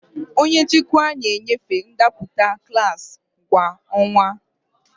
Onye nchịkwa na-enyefe ndepụta klaasị kwa ọnwa.